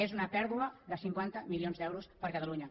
és una pèrdua de cinquanta milions d’euros per a catalunya